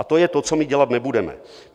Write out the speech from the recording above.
A to je to, co my dělat nebudeme.